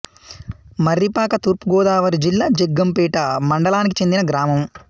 మర్రిపాక తూర్పు గోదావరి జిల్లా జగ్గంపేట మండలానికి చెందిన గ్రామం